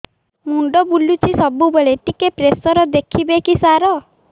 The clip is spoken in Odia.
ମୁଣ୍ଡ ବୁଲୁଚି ସବୁବେଳେ ଟିକେ ପ୍ରେସର ଦେଖିବେ କି ସାର